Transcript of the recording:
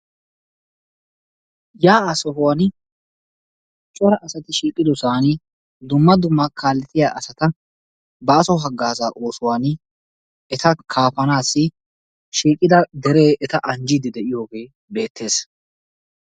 Yaa'aa sohuwan cora asati shiiqqiddosaan dumma dumma kaalettiya asata baaso hagaazaa oosuwan eta kaafanaassi shiiqqida deree eta anjjiidi de'iyogee beettees.